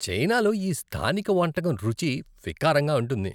చైనాలో ఈ స్థానిక వంటకం రుచి వికారంగా ఉంటుంది.